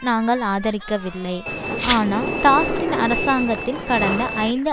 நாங்கள் ஆதரிக்கவில்லை ஆனால் தாக்சின் அரசாங்கத்தின் கடந்த ஐந்து